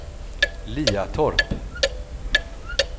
Liatorp